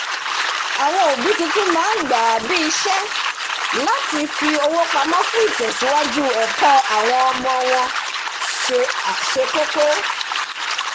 àwọn òbí tuntun máa ń gbà á bí isé láti fi owó pamó fún ìtẹsíwájú ẹkọ ọmọ wọn se àkókọ́